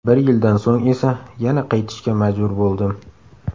Bir yildan so‘ng esa yana qaytishga majbur bo‘ldim.